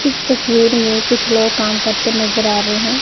इस तस्वीर में कुछ लोग काम करते नजर आ रहे हैं।